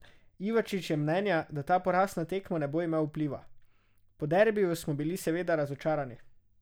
Ivačič je mnenja, da ta poraz na tekmo ne bo imel vpliva: "Po derbiju smo bili seveda razočarani.